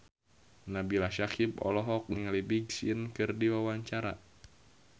Nabila Syakieb olohok ningali Big Sean keur diwawancara